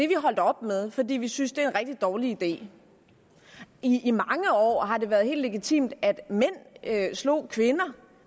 vi holdt op med fordi vi synes det er en rigtig dårlig idé i i mange år har det været helt legitimt at mænd slog kvinder